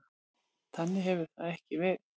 Þannig hefur það ekki verið.